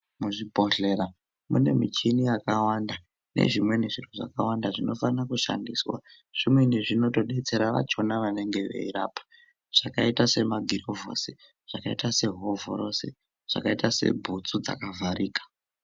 Muzvibhedhlera mune michini yakawanda nezvimweni zviro zvakawanda zvinofana kushandiswa zvinweni zvinotobetsera vachona vanenge veyirapa zvakaita semagirovhosi zvakaita sehovhorosi zvakaita sebhutsu dzakavharika.